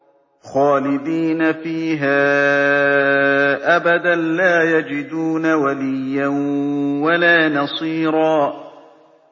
خَالِدِينَ فِيهَا أَبَدًا ۖ لَّا يَجِدُونَ وَلِيًّا وَلَا نَصِيرًا